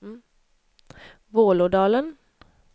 Vålådalen